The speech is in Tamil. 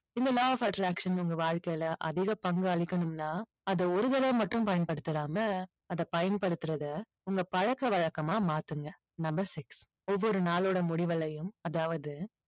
இந்த law of attraction உங்க வாழ்க்கையில அதிக பங்கு அளிக்கணும்னா அதை ஒரு தடவை மட்டும் பயன்படுத்திடாம அதை பயன்படுத்துறதை உங்க பழக்கவழக்கமா மாத்துங்க. number six ஒவ்வொரு நாளோட முடிவுலயும் அதாவது